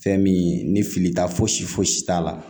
Fɛn min ni fili ta foyi si fosi t'a la